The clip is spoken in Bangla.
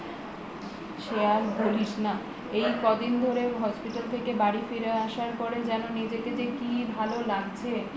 সে আর বলিস না এই কদিন ধরে hospital থেকে বাড়ি ফিরে আসার পরে যেন নিজেকে কি ভালো লাগছ